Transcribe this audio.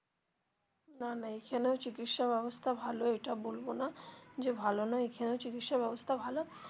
না না এখানেও চিকিৎসা ব্যবস্থা ভালো এটা বলবো না যে ভালো নয় এখানেও চিকিৎসা ব্যবস্থা ভালো.